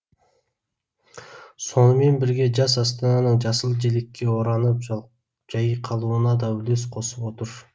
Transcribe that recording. сонымен бірге жас астананың жасыл желекке оранып жайқалуына да үлес қосып отыр